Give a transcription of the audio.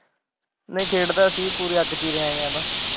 ਨਹੀਂ ਖੇਡਦਾ ਸੀ ਪੂਰੇ ਵਿੱਚ ਹੀ ਰਹਿਆ ਹਾਂ ਇਹ ਤਾਂ।